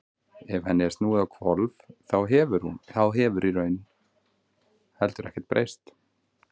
ef henni er snúið á hvolf þá hefur í raun heldur ekkert breyst